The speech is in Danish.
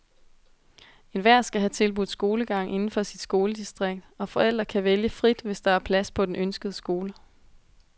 Enhver skal have tilbudt skolegang inden for sit skoledistrikt, og forældre kan vælge frit, hvis der er plads på den ønskede skole.